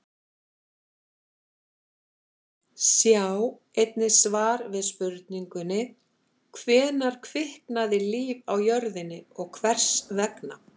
Sjá einnig svar við spurningunni: Hvenær kviknaði líf á jörðinni og hvers vegna?